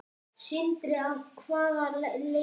Sindri: Að hvaða leyti?